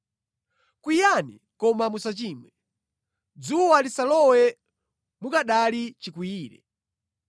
Kwiyani koma musachimwe. Dzuwa lisalowe mukanali chikwiyire.